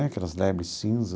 Aquelas lebre cinza.